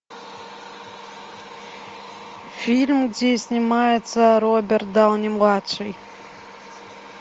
фильм где снимается роберт дауни младший